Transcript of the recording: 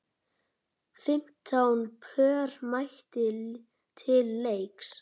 Fimmtán pör mættu til leiks.